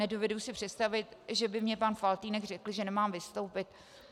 Nedovedu si představit, že by mi pan Faltýnek řekl, že nemám vystoupit.